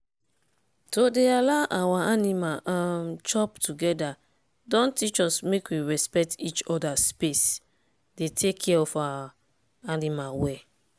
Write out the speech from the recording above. to dey allow our animal um chop together don teach us make we respect each other space dey take care of our animal well.